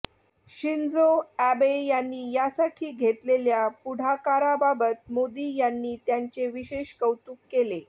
Shinzo Abe यांनी यासाठी घेतलेल्या पुढाकाराबाबत मोदी यांनी त्यांचे विशेष कौतुक केले